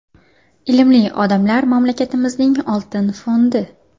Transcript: Ilmli odamlar mamlakatimizning oltin fondi.